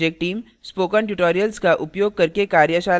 spoken tutorials का उपयोग करके कार्यशालाएँ भी चलाती है